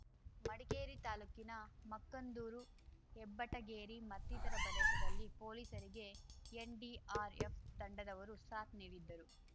ಮಡಿಕೇರಿ ತಾಲೂಕಿನ ಮಕ್ಕಂದೂರು ಹೆಬ್ಬೆಟ್ಟಗೇರಿ ಮತ್ತಿತರ ಪ್ರದೇಶದಲ್ಲಿ ಪೊಲೀಸರಿಗೆ ಎನ್‌ಡಿಆರ್‌ಎಫ್‌ ತಂಡದವರು ಸಾಥ್‌ ನೀಡಿದ್ದರು